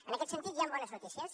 en aquest sentit hi han bones notícies